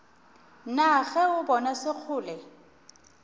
na ge o bona sekgole